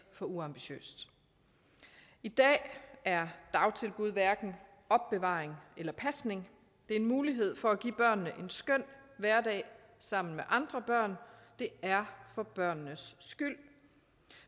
for uambitiøst i dag er dagtilbud hverken opbevaring eller pasning det er en mulighed for at give en skøn hverdag sammen med andre børn det er for børnenes skyld